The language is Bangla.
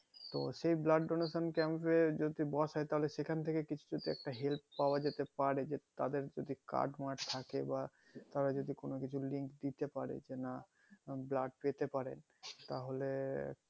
তো সেই blood donation camp এ যদি বসে তাহলে সেখান থেকে কিছু একটা help পাওয়া যেতে পারে তাদের কিছু কাজ মাজ থাকে বা তারা যদি কোনো কিছুর link দিতে পারে যে না blood পেতে পারেন তাহোলে